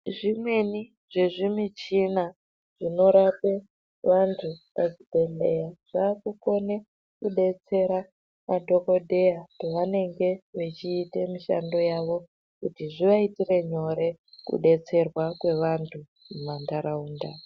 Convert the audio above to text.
Zvimweni zvezvi michina zvino rape vantu pa chibhedhleya zvaku kone kudetsera madhokodheya pe vanenge vechiite mishando yavo kuti zviva itire nyore ku detserwa kwe vantu muma ndaraunda.